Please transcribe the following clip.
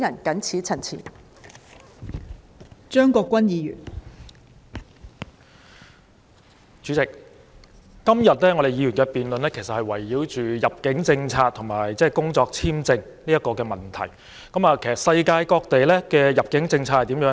代理主席，議員今天的辯論圍繞入境政策和工作簽證的問題，而世界各地的入境政策如何呢？